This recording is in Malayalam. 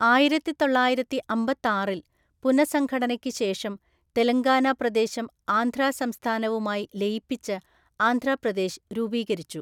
ആയിരത്തിതൊള്ളായിരത്തിഅമ്പത്താറില്‍ പുനഃസംഘടനയ്ക്ക് ശേഷം, തെലങ്കാന പ്രദേശം ആന്ധ്രാ സംസ്ഥാനവുമായി ലയിപ്പിച്ച് ആന്ധ്രാപ്രദേശ് രൂപീകരിച്ചു.